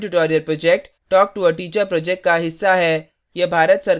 spoken tutorial project talktoa teacher project का हिस्सा है